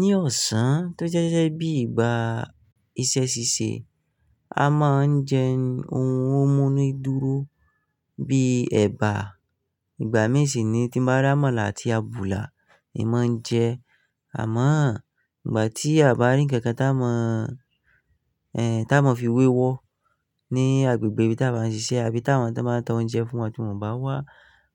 Ní ọ̀sán tó jẹ́ sẹ́ sẹ́ bí ìgbà iṣẹ́ ṣíṣe, a máa ń jẹ oun ó mú ni dúró bíi ẹ̀bà. Ìgbà mí ìṣí ni tí mo bá rà ámàlà àti àbùlà in mò ń jẹ. Àmọ́ ìgbà tí àbá rí ǹkankan tá mò ń, ẹ, tá mò ń fi wéwọ́ ní agbègbè bí táa máa ń ṣiṣẹ́ àbí táa máa ń ta oun jẹ fún wa tí mò ń bá wá,